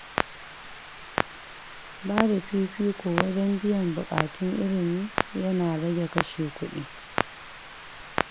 Bada fifiko wajen biyan bukatun ilimi ya na rage kashe kuɗi.